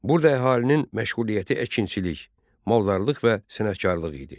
Burada əhalinin məşğuliyyəti əkinçilik, maldarlıq və sənətkarlıq idi.